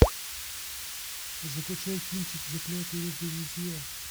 закачай кинчик заклятые друзья